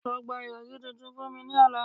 Lọ gba irọri tuntun fun mi ni ọla